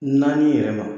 Naani yɛrɛ ma